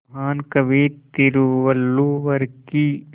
महान कवि तिरुवल्लुवर की